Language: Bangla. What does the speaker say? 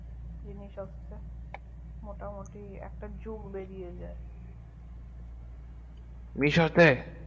জিনিস একটা মোটামুটি একটা জগ বেরিয়ে যাই misho তে